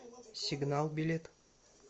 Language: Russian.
сигнал билет